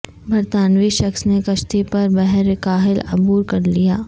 برطانوی شخص نے کشتی پر بحر الکاہل عبور کر لیا